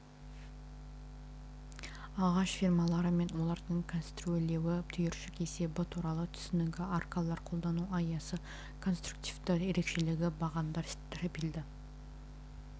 ағаш фермалары мен олардың конструирлеуі түйіршік есебі туралы түсінігі аркалар қолдану аясы конструктивті ерекшелігі бағандар стропильді